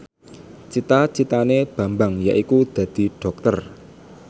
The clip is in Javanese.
cita citane Bambang yaiku dadi dokter